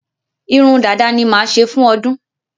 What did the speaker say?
Irun dada ni máa ṣe fún ọdún.